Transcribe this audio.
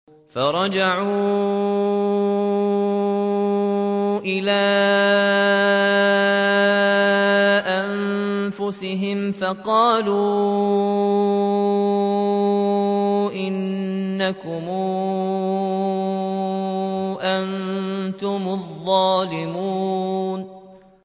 فَرَجَعُوا إِلَىٰ أَنفُسِهِمْ فَقَالُوا إِنَّكُمْ أَنتُمُ الظَّالِمُونَ